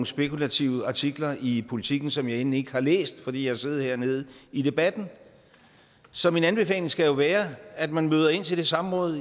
spekulative artikler i politiken som jeg end ikke har læst fordi jeg har siddet hernede i debatten så min anbefaling skal jo være at man møder ind til det samråd